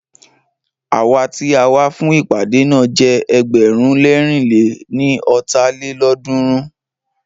Awa tí a wá fún ìpàdé náà jẹ́ ẹgbẹ̀rún lẹ̀rin lé ní ọ́ta lélọ́ọ̀dúnrún